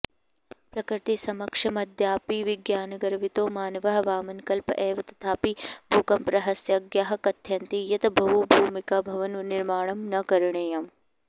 प्रकृतिसमक्षमद्यापि विज्ञानगर्वितो मानवः वामनकल्प एव तथापि भूकम्परहस्यज्ञाः कथयन्ति यत् बहुभूमिकभवननिर्माणं न करणीयम्